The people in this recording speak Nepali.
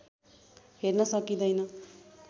हेर्न सकिँदैन